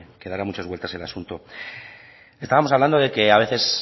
que dará muchas vueltas el asunto estábamos hablando de que a veces